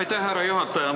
Aitäh, härra juhataja!